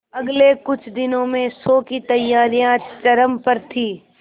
अगले कुछ दिनों में शो की तैयारियां चरम पर थी